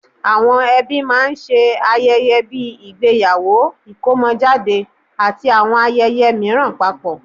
Àwọn ẹbí máa ń ṣe ayẹyẹ bíi ìgbéyàwó, ìkómọjáde, àti àwọn ayẹyẹ mìíràn papọ̀